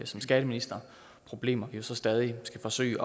som skatteminister problemer vi jo så stadig skal forsøge